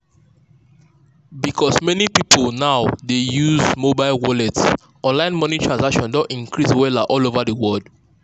because many people now dey use mobile wallet online money transactions don increase wella all over the world.